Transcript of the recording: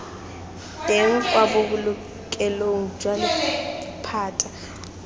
teng kwa bobolokelong jwa lephata